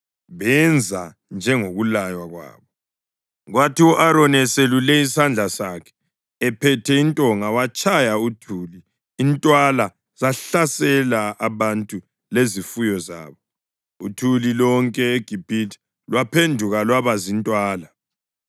Benza njengokulaywa kwabo, kwathi u-Aroni eselule isandla sakhe ephethe intonga watshaya uthuli, intwala zahlasela abantu lezifuyo zabo. Uthuli lonke eGibhithe lwaphenduka lwaba zintwala.